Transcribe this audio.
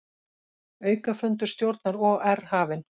Aukafundur stjórnar OR hafinn